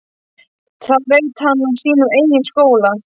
Það veit hann úr sínum eigin skóla.